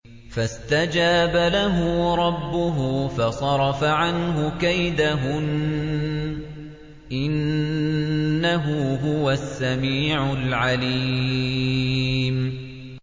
فَاسْتَجَابَ لَهُ رَبُّهُ فَصَرَفَ عَنْهُ كَيْدَهُنَّ ۚ إِنَّهُ هُوَ السَّمِيعُ الْعَلِيمُ